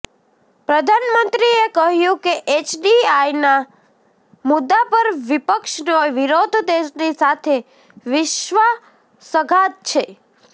પ્રધાનમંત્રીએ કહ્યુ કે એફડીઆઈના મુદ્દા પર વિપક્ષનો વિરોધ દેશની સાથે વિશ્વાસઘાત છે